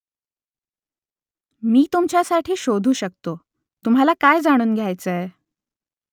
मी तुमच्यासाठी शोधू शकतो तुम्हाला काय जाणून घ्यायचंय ?